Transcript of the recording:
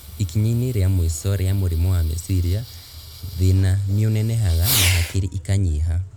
Ikinya-inĩ rĩa mũico ria mũrimũ wa meciria, thĩna nĩũnenehaga, na hakiri ikanyiha